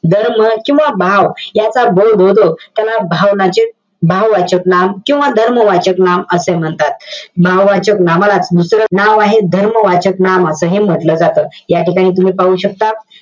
धर्म किंवा भाव, याचा बोध होतो, त्याला भावनाचक~ भाववाचक नाम किंवा धर्मवाचक नाम असे म्हणतात. भाववाचक नामाला, दुसरं नाव आहे, धर्मवाचक नाम असही म्हंटल जातं या ठिकाणी तुम्ही पाहू शकता.